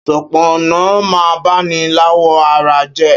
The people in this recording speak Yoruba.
Ṣọpọnọ mà n bàní làwọ̀ àrà jẹ